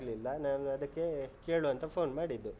ಆಗ್ಲಿಲ್ಲಾ, ನಾನ್ ಅದಕ್ಕೇ ಕೇಳುವಾ ಅಂತ phone ಮಾಡಿದ್ದು.